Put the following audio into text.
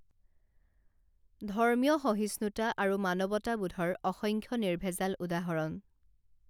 ধৰ্মীয় সহিষ্ণুতা আৰু মানৱতাবোধৰ অসংখ্য নিৰ্ভেজাল উদাহৰণ